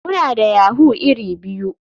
Muna da yahoo iri biyu.